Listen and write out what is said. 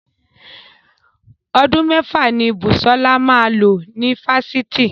Ọdún mẹ́fà ni Busola máa lò ní Fáṣítì.